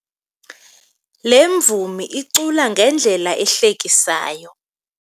Le mvumi icula ngendlela ehlekisayo.